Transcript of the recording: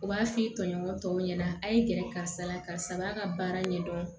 U b'a f'i tɔɲɔgɔn tɔw ɲɛna a' ye gɛrɛ karisa la karisa b'a ka baara ɲɛdɔn